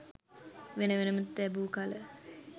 වෙන වෙනම තැබූ කල